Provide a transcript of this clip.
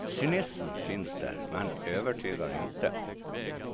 Cynismen finns där, men övertygar inte.